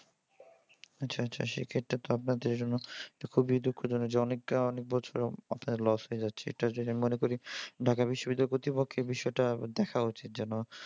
আচ্ছা আচ্ছা সেক্ষেত্রে তো আপনার জন্য তো খুবই দুঃখজনক যে অনেকের অনেক বছর আপনার loss হয়ে যাচ্ছে। এটার জন্য আমি মনে করি ঢাকা বিশ্ববিদ্যালয় কর্তৃপক্ষের বিষয়টা দেখা উচিত যেন